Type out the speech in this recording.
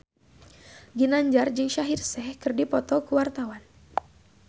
Ginanjar jeung Shaheer Sheikh keur dipoto ku wartawan